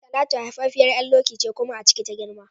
Talatu haifaffiyar ƴar Loki ce kuma a ciki ta girma